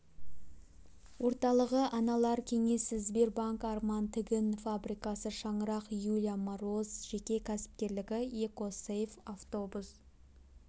орталығы аналар кеңесі сбербанк арман тігін фабрикасы шаңырақ юлия мороз жеке кәсіпкерлігі эко сейф автобус